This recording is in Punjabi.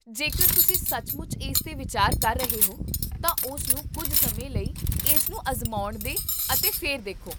ਜੇਕਰ ਤੁਸੀਂ ਸੱਚਮੁੱਚ ਇਸ 'ਤੇ ਵਿਚਾਰ ਕਰ ਰਹੇ ਹੋ, ਤਾਂ ਉਸਨੂੰ ਕੁੱਝ ਸਮੇਂ ਲਈ ਇਸ ਨੂੰ ਅਜ਼ਮਾਉਣ ਦੇ ਅਤੇ ਫਿਰ ਦੇਖੋ